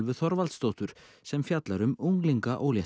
Þorvaldsdóttur sem fjallar um